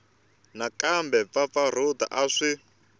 na kumbe mpfampfarhuto a swi